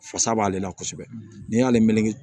Fasa b'ale la kosɛbɛ n'i y'ale mɛn